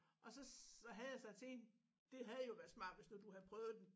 Og så havde jeg sagt til hende det havde jo været smart hvis nu du havde prøvet den